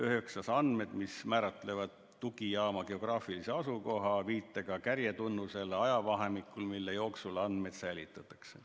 Üheksandaks, andmed, mis määratlevad tugijaama geograafilise asukoha viitega kärjetunnusele ajavahemikul, mille jooksul andmeid säilitatakse.